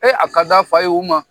A ka d'a fa ye u ma.